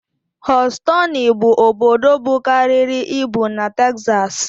Hostoni bụ obodo bukarịrị ibu na Texas